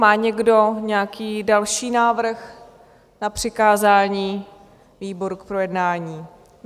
Má někdo nějaký další návrh na přikázání výboru k projednání?